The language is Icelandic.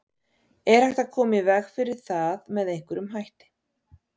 Er hægt að koma í veg fyrir það með einhverjum hætti?